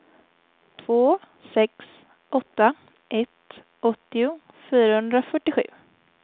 två sex åtta ett åttio fyrahundrafyrtiosju